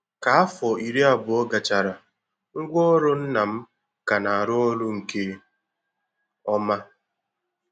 Ka afo iri abụọ gachara, ngwaọrụ nna m ka na-arụ ọrụ nke ọma.